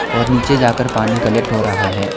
और नीचे जाकर पानी कलेक्ट हो रहा है।